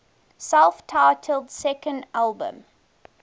self titled second album